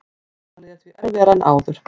Valið er því erfiðara en áður